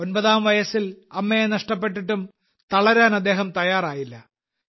ഒമ്പതാം വയസ്സിൽ അമ്മയെ നഷ്ടപ്പെട്ടിട്ടും തളരാൻ അദ്ദേഹം തയ്യാറായില്ല